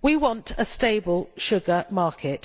We want a stable sugar market.